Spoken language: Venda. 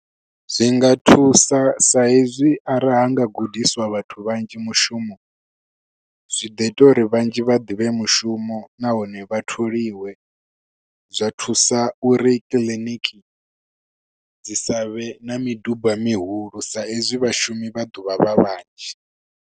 Zwinga thusa sa hezwi arali ha nga gudiswa vhathu vhanzhi mushumo, zwi ḓo ita uri vhanzhi vha ḓivhe mushumo nahone vha tholiwe. Zwa thusa uri kiḽiniki dzi sa vhe na midumba mihulu sa hezwi vhashumi vha ḓovha vha vhanzhi.